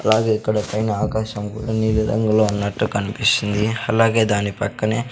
అలాగే ఇక్కడ పైన ఆకాశం కూడా నీలి రంగు లో ఉన్నటు కనిపిస్తుంది అలాగే దాని పక్కనే--